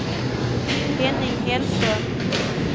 Henning Hellström